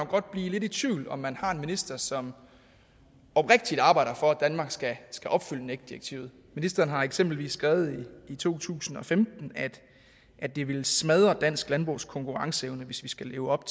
blive lidt i tvivl om om man har en minister som oprigtigt arbejder for at danmark skal skal opfylde nec direktivet ministeren har eksempelvis skrevet i to tusind og femten at det ville smadre dansk landbrugs konkurrenceevne hvis vi skal leve op